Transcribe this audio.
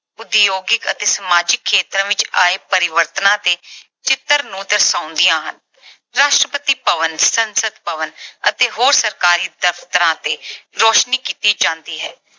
ਉਦਯੋਗਿਕ ਅਤੇ ਸਮਾਜਿਕ ਖੇਤਰ ਵਿੱਚ ਆਏ ਪਰਿਵਰਤਨਾਂ ਤੇ ਚਿੱਤਰ ਨੂੰ ਦਰਸਾਉਂਦੀਆਂ ਹਨ। ਰਾਸ਼ਟਰਪਤੀ ਭਵਨ, ਸੰਸਦ ਭਵਨ ਅਤੇ ਹੋਰ ਸਰਕਾਰੀ ਦਫ਼ਤਰਾਂ ਤੇ ਰੌਸ਼ਨੀ ਕੀਤੀ ਜਾਂਦੀ ਹੈ।